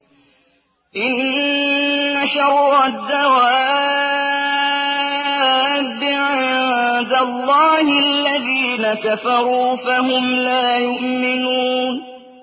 إِنَّ شَرَّ الدَّوَابِّ عِندَ اللَّهِ الَّذِينَ كَفَرُوا فَهُمْ لَا يُؤْمِنُونَ